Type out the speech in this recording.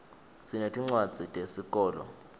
sinetincwadzi tesikolo